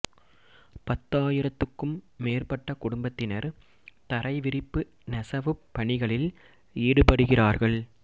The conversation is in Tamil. பத்தாயிரத்துக்கும் மேற்பட்ட குடும்பத்தினர் தரை விரிப்பு நெசவுப் பணிகளில் ஈடுபடுகிறார்கள்